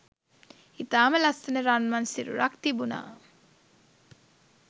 ඉතාම ලස්සන රන්වන් සිරුරක් තිබුනා.